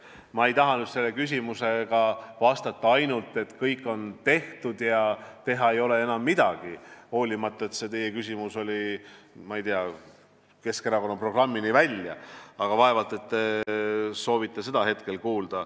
Ma ei taha vastata ainult, et kõik on tehtud ja teha ei ole enam midagi, hoolimata sellest, et see teie küsimus läks, ma ei tea, Keskerakonna programmini välja, aga vaevalt te soovite seda hetkel kuulda.